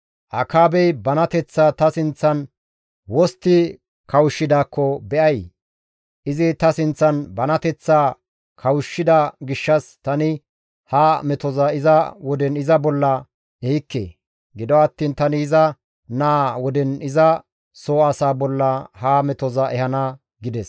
«Akaabey banateththaa ta sinththan wostti kawushshidaakko be7ay? Izi ta sinththan banateththaa kawushshida gishshas tani ha metoza iza woden iza bolla ehikke. Gido attiin tani iza naa woden iza soo asaa bolla ha metoza ehana» gides.